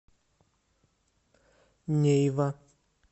нейва